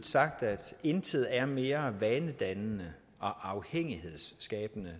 sagt at intet er mere vanedannende og afhængighedsskabende